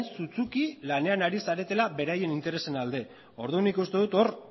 sutsuki lanean ari zaretela beraien interesen alde ordun nik uste dut hor